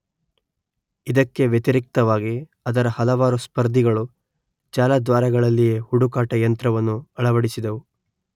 ಇದಕ್ಕೆ ವ್ಯತಿರಿಕ್ತವಾಗಿ ಅದರ ಹಲವಾರು ಸ್ಪರ್ಧಿಗಳು ಜಾಲದ್ವಾರಗಳಲ್ಲಿಯೇ ಹುಡುಕಾಟ ಯಂತ್ರವನ್ನು ಅಳವಡಿಸಿದವು